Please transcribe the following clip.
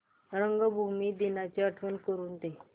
रंगभूमी दिनाची आठवण करून दे